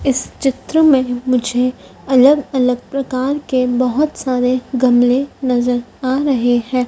इस चित्र में मुझे अलग अलग प्रकार के बहोत सारे गमले नजर आ रहे है।